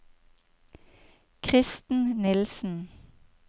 Kristen Nielsen